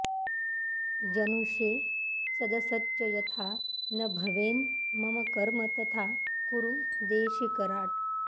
जनुषे सदसच्च यथा न भवेन् मम कर्म तथा कुरु देशिकराट्